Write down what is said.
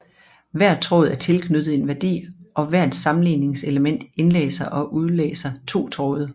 Hver tråd er tilknyttet en værdi og hvert sammenligningselement indlæser og udlæser to tråde